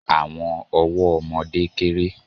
Àwọn ọwọ́ ọmọdé kérè